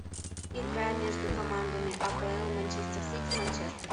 игра между командами апл манчестер сити манчестер